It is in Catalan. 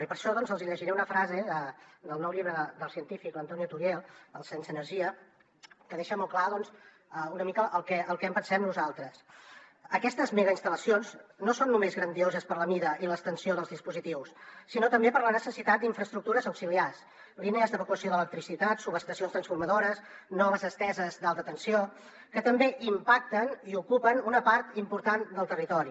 i per això doncs els hi llegiré una frase del nou llibre del científic antonio turiel el sense energia que deixa molt clar una mica el que en pensem nosaltres aquestes megainstal·lacions no són només grandioses per la mida i l’extensió dels dispositius sinó també per la necessitat d’infraestructures auxiliars línies d’evacuació d’electricitat subestacions transformadores noves esteses d’alta tensió que també impacten i ocupen una part important del territori